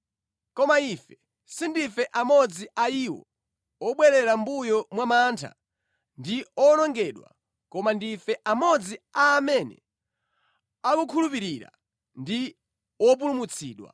Koma ife sindife amodzi a iwo obwerera mʼmbuyo mwa mantha ndi owonongedwa, koma ndife amodzi a amene akukhulupirira ndi wopulumutsidwa.